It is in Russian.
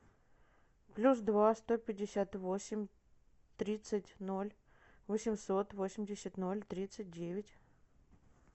плюс два сто пятьдесят восемь тридцать ноль восемьсот восемьдесят ноль тридцать девять